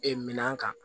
Ee minan kan